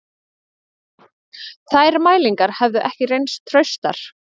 Þær mælingar hefðu ekki reynst traustar